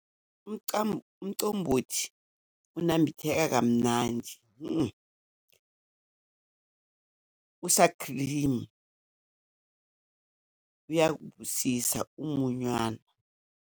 Umcombothi ukunambitheka kamnandi, usakhilimu, uyakubusisa umunywana.